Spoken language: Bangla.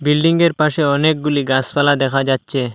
বিল্ডিংয়ের পাশে অনেকগুলি গাসপালা দেখা যাচচে।